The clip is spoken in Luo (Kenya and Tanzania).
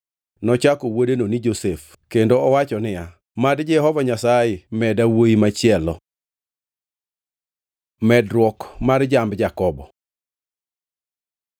Nochako wuodeno ni Josef + 30:24 Josef tiende ni mad omeda machielo. kendo owacho niya, “Mad Jehova Nyasaye meda wuowi machielo.” Medruok mag jamb Jakobo